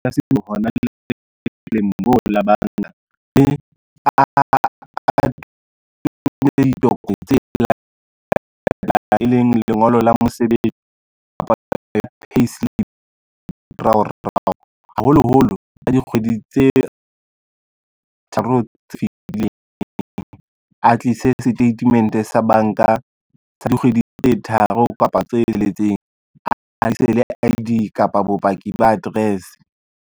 E leng lengolo la mosebetsi e leng payslip haholoholo ka dikgwedi tse tharo tse fitileng, a tlise statement sa banka sa dikgwedi tse tharo kapa tse tsheletseng, a tlise le I_D kapa bopaki ba address.